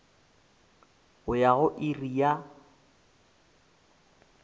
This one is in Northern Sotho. go ya go iri ya